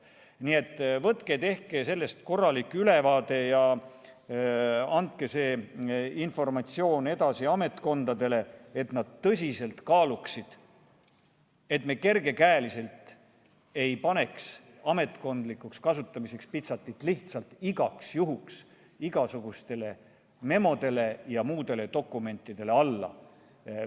Nii et võtke tehke sellest korralik ülevaade ja andke see informatsioon edasi ametkondadele, et nad tõsiselt kaaluksid, et me kergekäeliselt ei paneks pitserit "Ametkondlikuks kasutamiseks" lihtsalt igaks juhuks igasugustele memodele ja muudele dokumentidele alla.